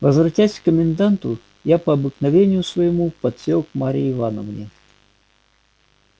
возвратясь к коменданту я по обыкновению своему подсел к марье ивановне